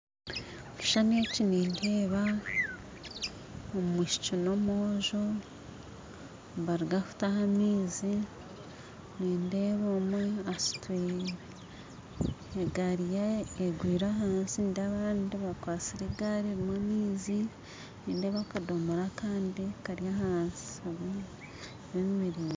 Ekishushani eki nindeeba omwishiki nomwojo nibaruga kutaha amaizi nindeeba omwe asutwire egaari emwe egwire ahansi nindeeba abandi bakwatsire egari eriho amaizi nindeeba akadomora akandi Kari ahansi kemereire